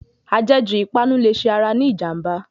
Ajẹ̀ jù ìpanu lè ṣe ara ní ìjànbá.